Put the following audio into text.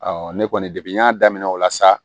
ne kɔni de y'a daminɛ o la sa